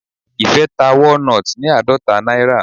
Ìfẹ́ ta walnut ní àádọta náírà.